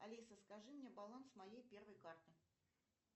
алиса скажи мне баланс моей первой карты